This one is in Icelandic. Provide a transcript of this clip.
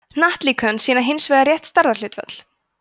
hnattlíkön sýna hins vegar rétt stærðarhlutföll